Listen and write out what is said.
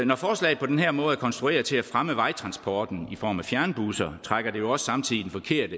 når forslaget på den her måde er konstrueret til at fremme vejtransporten i form af fjernbusser trækker det jo samtidig